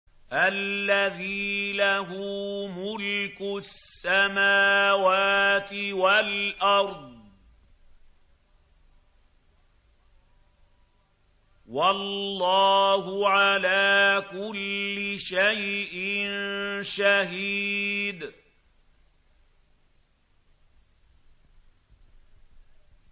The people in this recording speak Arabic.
الَّذِي لَهُ مُلْكُ السَّمَاوَاتِ وَالْأَرْضِ ۚ وَاللَّهُ عَلَىٰ كُلِّ شَيْءٍ شَهِيدٌ